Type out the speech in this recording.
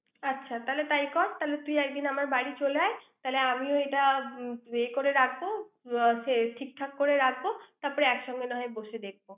আচ্ছা তাহলে তাই কর। তাহলে তুই একদিন আমার বাড়িতে চলে আয়। তাহলে আমি এটা করে রাখবো। আহ ঠিকঠাক করে রাখবো। তারপর একসঙ্গে নাহয় বসে দেখব।